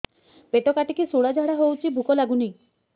ପେଟ କାଟିକି ଶୂଳା ଝାଡ଼ା ହଉଚି ଭୁକ ଲାଗୁନି